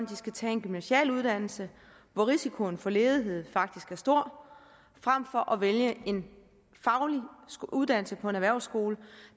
de skal tage en gymnasial uddannelse hvor risikoen for ledighed faktisk er stor frem for at vælge en faglig uddannelse på en erhvervsskole